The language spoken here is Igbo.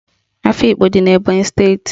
Afikpo dị n'Ebọnyị steeti.